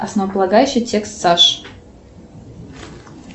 основополагающий текст саш